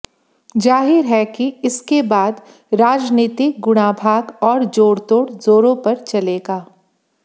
जाहिर है कि इसके बाद राजनीतिक गुणाभाग और जोड़तोड़ जोरों पर चलेगा